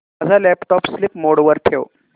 माझा laptop sleep mode वर ठेव